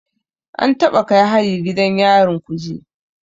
An taɓa kai hari gidan yarin Kuje